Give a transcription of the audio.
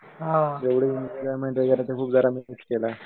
तेव्हड मी एन्जॉयमेंट वगैरे ते जरा मी खूप मिस केलं.